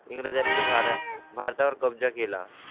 इंग्रजां नी भारतात भारता वर कब्जा केला.